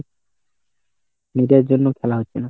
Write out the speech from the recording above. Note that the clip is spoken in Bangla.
media র জন্যই খেলা হচ্ছে না।